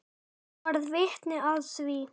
Ég varð vitni að því.